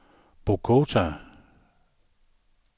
Bogota